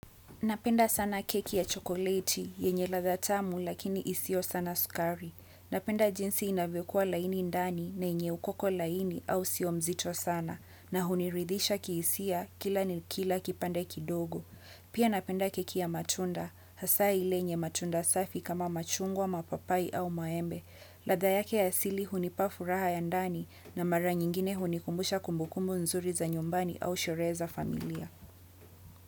Napenda sana keki ya chokoleti, yenye ladha tamu lakini isio sana sukari. Napenda jinsi inavekua laini ndani na inye ukoko laini au siomzito sana. Na huniridhisha kiisia kila nilkila kipande kidogo. Pia napenda keki ya matunda, hasa ilenye matunda safi kama machungwa mapapai au maembe. Ladha yake ya sili hunipafu raha ya ndani na mara nyingine hunikumbusha kumbukumu nzuri za nyumbani au shoreza familia.